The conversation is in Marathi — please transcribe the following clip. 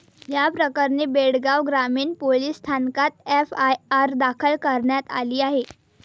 या प्रकरणी बेळगाव ग्रामीण पोलीस स्थानकात एफआयआर दाखल करण्यात आली आहे.